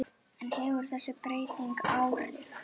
En hefur þessi breyting áhrif?